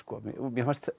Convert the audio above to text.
mér fannst